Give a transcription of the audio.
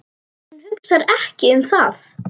Hún hugsar ekki um það.